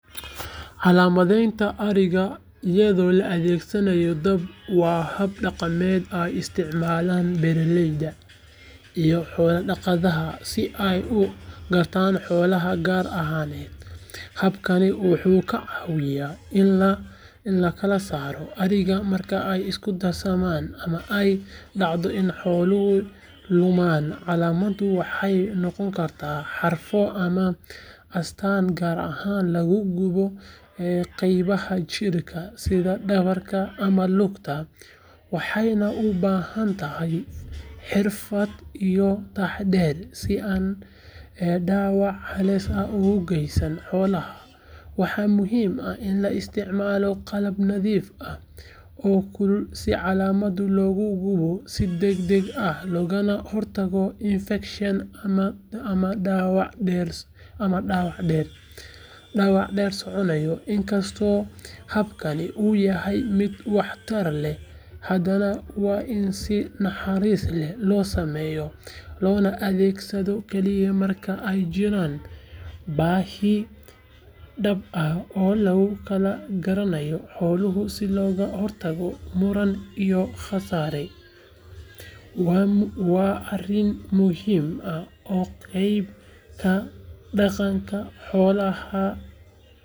Calaamadaynta ariga iyadoo la adeegsanayo dab waa hab dhaqameed ay isticmaalaan beeraleyda iyo xoolo dhaqatada si ay u gartaan xoolahooda gaar ahaaneed habkani wuxuu ka caawiyaa in la kala saaro ariga marka ay isku darsamaan ama ay dhacdo in xooluhu lumaan calaamaduhu waxay noqon karaan xarfo ama astaan gaar ah oo lagu gubo qaybaha jirka sida dhabarka ama lugta waxayna u baahan tahay xirfad iyo taxaddar si aanay dhaawac halis ah ugu geysan xoolaha waxaa muhiim ah in la isticmaalo qalab nadiif ah oo kulul si calaamadda loogu gubo si degdeg ah loogana hortago infekshan ama dhaawac dheer soconaya inkastoo habkani uu yahay mid waxtar leh hadana waa in si naxariis leh loo sameeyaa loona adeegsadaa kaliya marka ay jirto baahi dhab ah oo lagu kala garanayo xoolaha si looga hortago muran iyo khasaare waana arrin muhiim ah oo qayb ka ah dhaqanka xoolo dhaqashada.